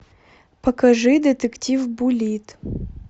покажи детектив буллитт